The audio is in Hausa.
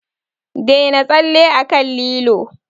Daina tsalle akan lilo!